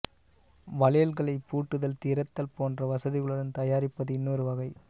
வளையல்களைப் பூட்டுதல் திறத்தல் போன்ற வசதிகளுடன் தயாரிப்பது இன்னொரு வகை